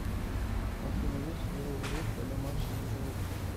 афина есть ли у грефа домашние животные